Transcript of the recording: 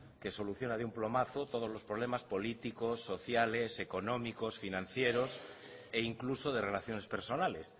que soluciona de un plumazo los problemas políticos sociales económicos financieros e incluso de relaciones personales